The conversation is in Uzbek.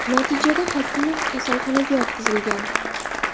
Natijada Hakimov kasalxonaga yotqizilgan.